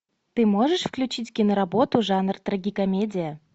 ты можешь включить киноработу жанр трагикомедия